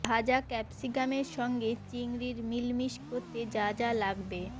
ভাজা ক্যাপসিকামের সঙ্গে চিংড়ির মিলমিশ করতে যা যা লাগবে